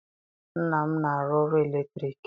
Nna m na-arụ ọrụ eletriki.